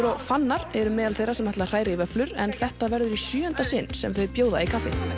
og Fannar eru meðal þeirra sem ætla að hræra í vöfflur en þetta verður í sjöunda sinn sem þau bjóða í